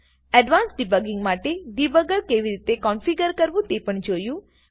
advance debugging માટે debugger કેવી રીતે કોન્ફીગ્રર કરવું તે પણ જોયું